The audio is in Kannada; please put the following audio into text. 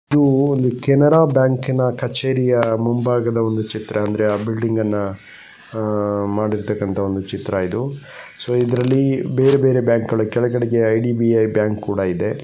ಇದು ಒಂದು ಕೆನರಾ ಬ್ಯಾಂಕಿ ನ ಕಛೇರಿಯ ಮುಂಭಾಗ ಒಂದು ಚಿತ್ರ ಅಂದ್ರೆ ಆ ಬಿಲ್ಡಿಂಗ್ ಅನ್ನ ಅಹ್ ಮಾಡಿರ್ತಕ್ಕಂತಹ ಒಂದು ಚಿತ್ರ ಇದು ಸೊ ಇದ್ರಲ್ಲಿ ಬೇರೆ ಬೇರೆ ಬ್ಯಾಂಕ್ ಕೆಳಗಡೆಗೆ ಐ.ಡಿ.ಬಿ.ಐ ಬ್ಯಾಂಕ್ ಕೂಡ ಇದೆ .